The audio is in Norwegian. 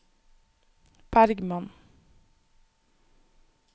Bergmann